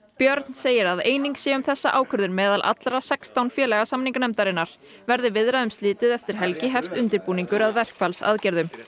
björn segir að eining sé um þessa ákvörðun meðal allra sextán félaga samninganefndarinnar verði viðræðum slitið eftir helgi hefjist undirbúningur að verkfallsaðgerðum